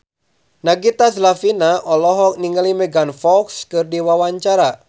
Nagita Slavina olohok ningali Megan Fox keur diwawancara